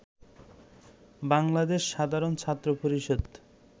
বাংলাদেশ সাধারণ ছাত্র পরিষদ